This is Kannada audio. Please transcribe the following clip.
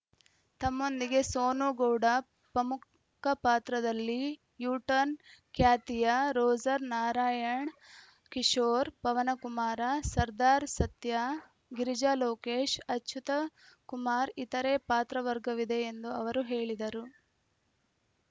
ತಮ್ಮೊಂದಿಗೆ ಸೋನುಗೌಡ ಪ್ರಮುಖ ಪಾತ್ರದಲ್ಲಿ ಯೂ ಟರ್ನ್ ಖ್ಯಾತಿಯ ರೋಜರ್‌ ನಾರಾಯಣ ಕಿಶೋರ್‌ ಪವನಕುಮಾರ ಸರ್ದಾರ್‌ ಸತ್ಯಾ ಗಿರಿಜಾ ಲೋಕೇಶ್‌ ಅಚ್ಯುತ್‌ಕುಮಾರ ಇತರೆ ಪಾತ್ರ ವರ್ಗವಿದೆ ಎಂದು ಅವರು ಹೇಳಿದರು